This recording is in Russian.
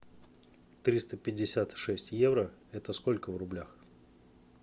триста пятьдесят шесть евро это сколько в рублях